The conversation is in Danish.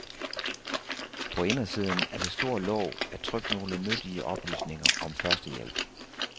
På indersiden af det store låg er trykt nogle nyttige oplysninger om førstehjælp.